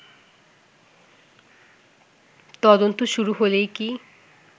তদন্ত শুরু হলেই কি